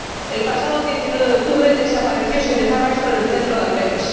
El pasado 19 de octubre desapareció sin dejar rastro en el centro de Amberes.